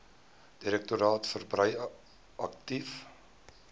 direktoraat verbrei aktief